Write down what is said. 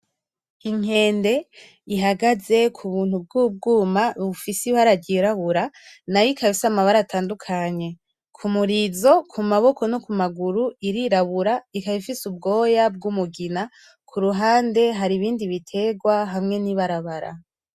Inkende ihagaze k'ubuntu bw'ubwuma bufise ibara ry'irabura n'ayo ikaba ifise amabara atandukanye ku murizo, ku maboko no ku maguru irirabura ikaba ifise ubwoya bw'umugina kuruhande hari ibindi biterwa hamwe n'ibarabara.